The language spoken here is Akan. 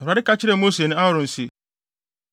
Awurade ka kyerɛɛ Mose ne Aaron se: